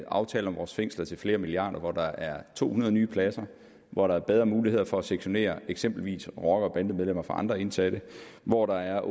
aftale om vores fængsler til flere milliarder hvor der er to hundrede nye pladser hvor der er bedre mulighed for at sektionere eksempelvis rocker bande medlemmer fra andre indsatte hvor der er